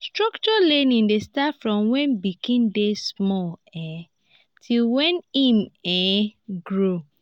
structured learning de start from when pikin de small um till when im um grow